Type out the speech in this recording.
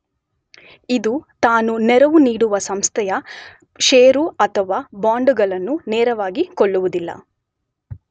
ಇದು ತಾನು ನೆರವು ನೀಡುವ ಸಂಸ್ಥೆಯ ಷೇರು ಅಥವಾ ಬಾಂಡುಗಳನ್ನು ನೇರವಾಗಿ ಕೊಳ್ಳುವುದಿಲ್ಲ.